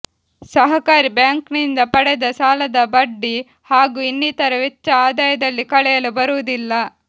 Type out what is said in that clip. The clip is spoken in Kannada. ಸಹಕಾರಿ ಬ್ಯಾಂಕಿನಿಂದ ಪಡೆದ ಸಾಲದ ಬಡ್ಡಿ ಹಾಗೂ ಇನ್ನಿತರ ವೆಚ್ಚ ಆದಾಯದಲ್ಲಿ ಕಳೆಯಲು ಬರುವುದಿಲ್ಲ